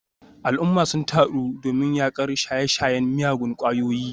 Al’umma sun taru domin yakar shaye-shayen miyagun kwayoyi.